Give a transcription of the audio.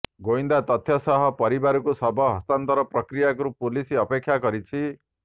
ଗୋଇନ୍ଦା ତଥ୍ୟ ସହ ପରିବାରକୁ ଶବ ହସ୍ତାନ୍ତର ପ୍ରକ୍ରିୟାକୁ ପୁଲିସ ଅପେକ୍ଷା କରିଛି